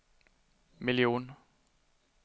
miljon